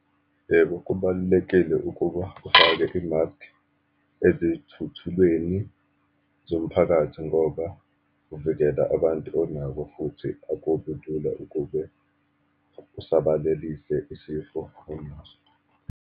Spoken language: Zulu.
Yebo, kubalulekile ukuba ufake i-mask ezithuthulweni zomphakathi, ngoba uvikela abantu onabo, futhi akubi lula ukube usabalelise isifo onaso.